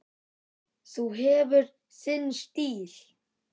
Þú hefur þinn stíl.